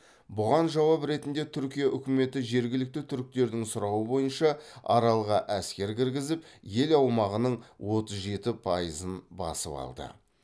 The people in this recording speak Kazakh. бұған жауап ретінде түркия үкіметі жергілікті түріктердің сұрауы бойынша аралға әскер кіргізіп ел аумағының отыз жеті пайызын басып алды